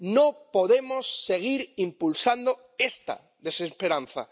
No podemos seguir impulsando esta desesperanza.